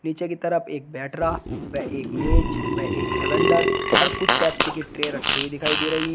पीछे की तरफ एक बैटरा व एक मेज व एक सिलेंडर और कुछ पेप्सी की रखी हुई दिखाई दे रही --